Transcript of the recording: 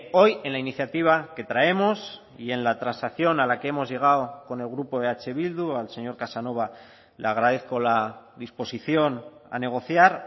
hoy en la iniciativa que traemos y en la transacción a la que hemos llegado con el grupo eh bildu al señor casanova le agradezco la disposición a negociar